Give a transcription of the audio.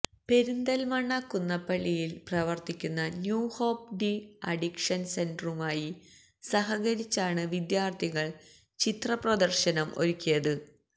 പെരിന്തല്മണ്ണ കുന്നപ്പള്ളിയില് പ്രവര്ത്തിക്കുന്ന new hope de addiction സെന്ററുമായി സഹകരിച്ചാണ് വിദ്യാര്ഥികള് ചിത്ര പ്രദര്ശനം ഒരുക്കിയത്